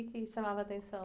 O quê que chamava a atenção?